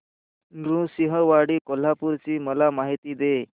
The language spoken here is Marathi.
नृसिंहवाडी कोल्हापूर ची मला माहिती दे